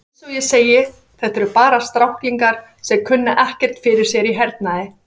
Eins og ég segi, þetta eru bara stráklingar sem kunna ekkert fyrir sér í hernaði.